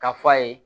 K'a f'a ye